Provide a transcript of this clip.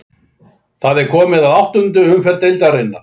Það er komið að áttundu umferð deildarinnar.